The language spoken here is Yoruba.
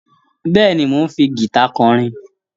Bẹ́ẹ̀ni, mò ń fi gìta kọrin